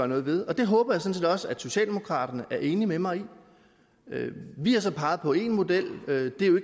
noget ved og det håber jeg også at socialdemokraterne er enige med mig i vi har så peget på én model det er jo